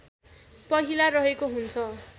पहिला रहेको हुन्छ